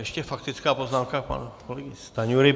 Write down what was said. Ještě faktická poznámka pana kolegy Stanjury.